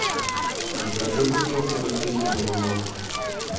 закажи бутылку растительного масла